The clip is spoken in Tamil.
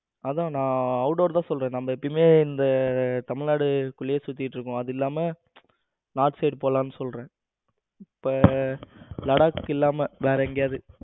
அதான் நான் out door தான் சொல்றேன். நம்ம எப்பவுமே இந்த தமிழ்நாட்டுக்குள்ளேயே சுத்திட்டு இருக்கும், அதுவும் இல்லாம north side போலாம்னு சொல்றேன். இப்ப லடாக் இல்லாம வேற எங்கேயாவது